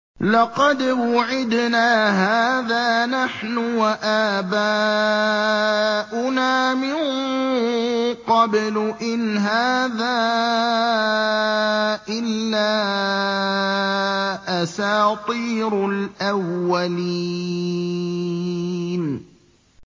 لَقَدْ وُعِدْنَا هَٰذَا نَحْنُ وَآبَاؤُنَا مِن قَبْلُ إِنْ هَٰذَا إِلَّا أَسَاطِيرُ الْأَوَّلِينَ